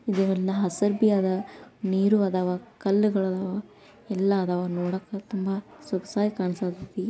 ಇಲ್ಲಿ ಒನ್ನ ಹಸರಬಿ ಅದ ನೀರು ಅದಾವ ಕಲ್ಲುಗಳಾದವ ಎಲ್ಲ ಅದಾವ ನೋಡಕ ತುಂಬಾ ಸೊಗಸಾಗಿ ಕಾಣಿಸತ್ತಿ.